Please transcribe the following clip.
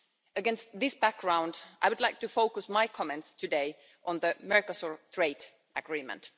Against this background, I would like to focus my comments today on the Mercosur Trade Agreement.